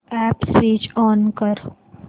app switch on कर